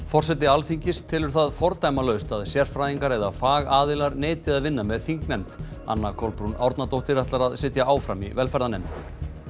forseti Alþingis telur það fordæmalaust að sérfræðingar eða fagaðilar neiti að vinna með þingnefnd anna Kolbrún Árnadóttir ætlar að sitja áfram í velferðarnefnd